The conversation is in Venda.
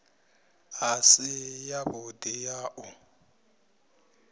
i si yavhudi ya u